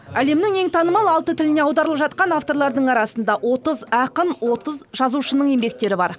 әлемнің ең танымал алты тіліне аударылып жатқан авторлардың арасында отыз ақын отыз жазушының еңбектері бар